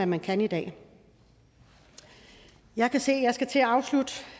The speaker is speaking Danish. man kan i dag jeg kan se